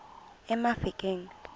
emafikeng